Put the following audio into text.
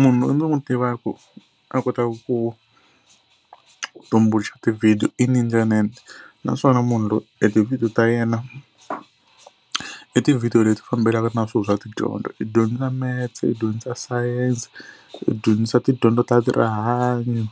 Munhu loyi ni n'wi tivaka a kotaka ku tumbuluxa ti-video i naswona munhu loyi e ti-video ta yena i ti-video leti fambelanaka na swilo swa tidyondzo. I dyondzisa metse, i dyondzisa science, i dyondzisa tidyondzo ta ti rihanyo